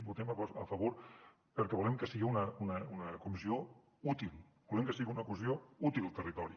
hi votem a favor perquè volem que siga una comissió útil volem que siga una comissió útil al territori